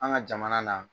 An ka jamana na